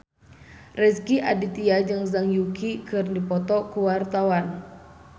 Rezky Aditya jeung Zhang Yuqi keur dipoto ku wartawan